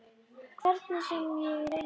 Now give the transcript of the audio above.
Hvernig sem ég reyni.